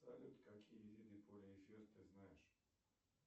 салют какие виды полиэфир ты знаешь